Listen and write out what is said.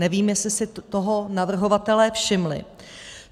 Nevím, jestli si toho navrhovatelé všimli.